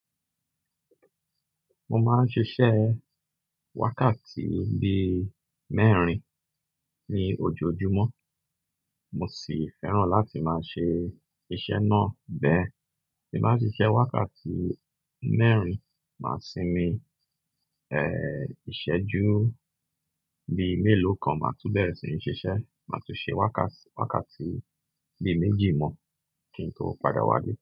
Mo máa ń ṣiṣẹ́ wákàtí bí mẹ́rin ní ojoojúmọ́, mo sì fẹ́ràn láti máa ṣe iṣẹ́ náà bẹ́ẹ̀. Tí màá fi ṣẹ́ wákàtí mẹ́rin, màá sinmi, eh, ìṣẹ́jú bí mélòó kan, màá túbọ̀ bẹ́ẹ̀ sì ní ṣiṣẹ́, màá tún ṣe wákàt-wákàtí bí méjì mọ́ kí n tó padà wále.